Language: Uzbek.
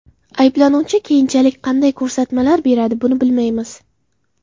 Ayblanuvchi keyinchalik qanday ko‘rsatmalar beradi buni bilmaymiz.